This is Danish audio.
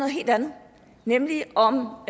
helt andet nemlig om